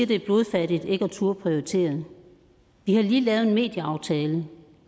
det er blodfattigt ikke at turde prioritere vi har lige lavet en medieaftale